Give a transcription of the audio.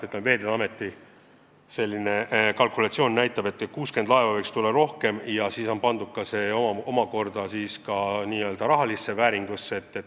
Aga jah, Veeteede Ameti kalkulatsiooni kohaselt võiks olla 60 laeva rohkem ja see prognoos on pandud ka n-ö rahalisse vääringusse.